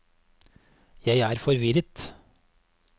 jeg er forvirret